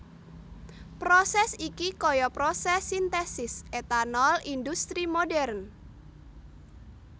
Prosès iki kaya prosès sintesis etanol indhustri modern